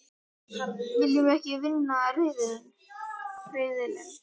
Viljum við ekki vinna riðilinn?